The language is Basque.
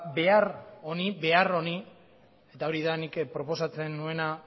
behar honi eta hori da nik proposatzen nuena